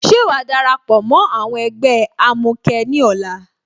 Ṣé wàá darapọ̀ mó ẹgbẹ́ àwọn amukẹ ní ọ̀la?